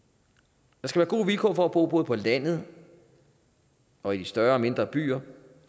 der skal være gode vilkår for at bo både på landet og i de større og mindre byer